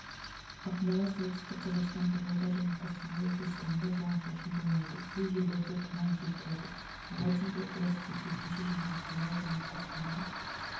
ақмола солтүстік қазақстан павлодар және қостанай облыстарында жауын-шашын болмайды кей жерлреде тұман жел тұрады ауа температурасы сәйкесінше және ақмола және қостанай